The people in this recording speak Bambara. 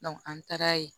an taara ye